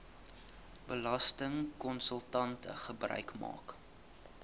belastingkonsultante gebruik maak